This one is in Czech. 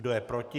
Kdo je proti?